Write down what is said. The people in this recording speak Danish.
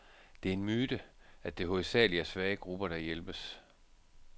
Det er en myte, at det hovedsageligt er svage grupper, der hjælpes.